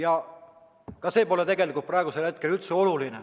Aga ka see pole tegelikult praegu üldse oluline.